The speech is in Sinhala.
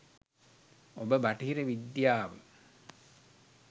ඔබ බටහිර විද්‍යාව